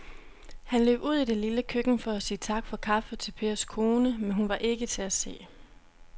Han løb ud i det lille køkken for at sige tak for kaffe til Pers kone, men hun var ikke til at se.